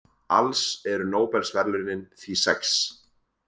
Alls eru Nóbelsverðlaunin því sex.